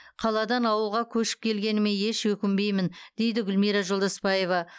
қаладан ауылға көшіп келгеніме еш өкінбеймін дейді гүлмира жолдаспаева